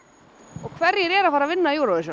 og hverjir eru að fara að vinna